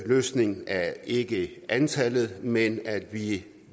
løsningen er ikke antallet men at vi